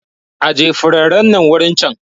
Aje furanin nan wurin can!